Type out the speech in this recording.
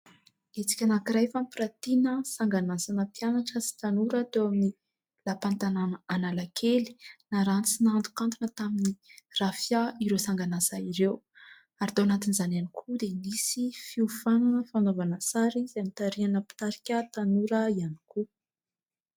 Hetsika anankiray fampiratiana sangan'asana mpianatra sy tanora teo amin'ny lapan'ny tanàna Analakely. Naranty sy nahantokantona tamin'ny "raphia" ireo sangan'asa ireo ary tao anatin'izany ihany koa dia nisy fiofanana fanaovana sary izay notarihana mpitarika tanora ihany koa.